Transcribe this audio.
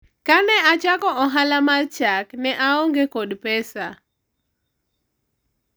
kane achako ohala mar chak ne aonge kod pesa